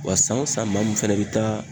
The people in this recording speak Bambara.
Wa san o san maa min fɛnɛ be taa